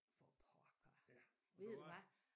For pokker ved du hvad